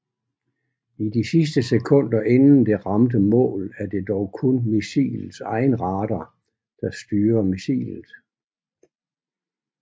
I de sidste sekunder inden det rammer målet er det dog kun missilets egen radar der styrer missilet